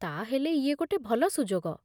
ତା'ହେଲେ ଇଏ ଗୋଟେ ଭଲ ସୁଯୋଗ